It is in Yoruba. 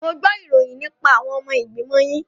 Mo gbo ìròyìn nípa àwọn ọmọ ìgbìmọ̀ yín.